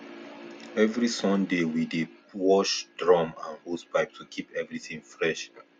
every sunday we dey wash drum and hosepipe to keep everything fresh